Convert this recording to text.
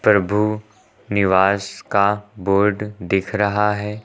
प्रभु निवास का बोर्ड दिख रहा है।